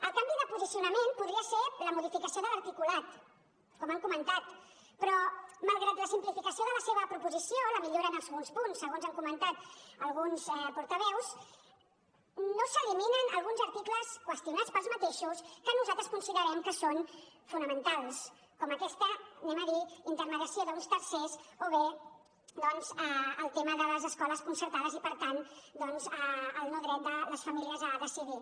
el canvi de posicionament podria ser la modificació de l’articulat com han comentat però malgrat la simplificació de la seva proposició la millora en alguns punts segons han comentat alguns portaveus no s’eliminen alguns articles qüestionats per ells mateixos que nosaltres considerem que són fonamentals com aquesta intermediació d’uns tercers o bé el tema de les escoles concertades i per tant doncs el no dret de les famílies a decidir